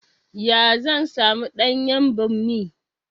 Ya zan samu ɗanyan ɓammi?